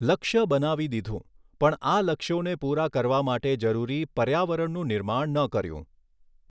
લક્ષ્ય બનાવી દીધું પણ આ લક્ષ્યોને પુરા કરવા માટે જરૂરી પર્યાવરણનું નિર્માણ ન કર્યું.